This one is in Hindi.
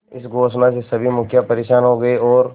इस घोषणा से सभी मुखिया परेशान हो गए और